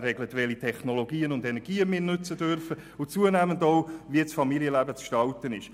er regelt, welche Technologien und Energien wir nützen dürfen und zunehmend auch, wie das Familienleben zu gestalten ist.